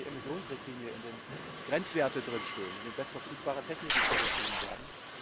die Industrieemissionsrichtlinie, in der Grenzwerte stehen, in der bestverfügbare Techniken vorgeschrieben werden.